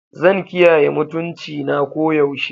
Zan kiyaye mutuncina koyaushe.